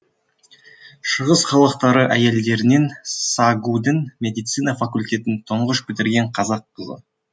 шығыс халықтары әйелдерінен сагу дің медицина факультетін тұңғыш бітірген қазақ қызы